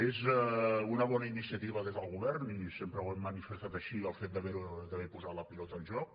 és una bona iniciativa des del govern i sempre ho hem manifestat així el fet d’haver també posat la pilota en joc